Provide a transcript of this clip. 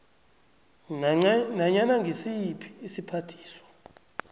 nanyana ngisiphi isiphathiswa